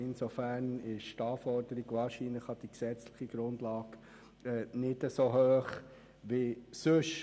Insofern ist die Anforderung an die gesetzliche Grundlage wahrscheinlich nicht so hoch wie sonst.